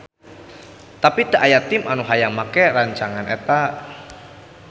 Tapi teu aya tim anu hayang make rancangan eta.